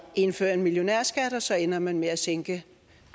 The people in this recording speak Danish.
indføre en millionærskat og så endte man med at sænke